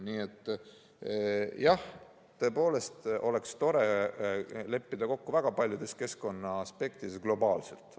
Nii et jah, tõepoolest oleks tore leppida kokku väga paljudes keskkonnaaspektides globaalselt.